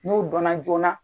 N'o don na joona.